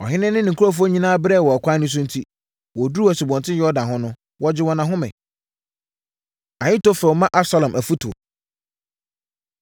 Ɔhene ne ne nkurɔfoɔ nyinaa brɛeɛ wɔ ɛkwan so enti, wɔduruu Asubɔnten Yordan ho no, wɔgyee wɔn ahome. Ahitofel Ma Absalom Afotuo